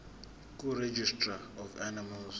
kuregistrar of animals